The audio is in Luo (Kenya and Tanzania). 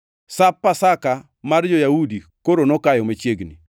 Sap Pasaka mar jo-Yahudi koro nokayo machiegni.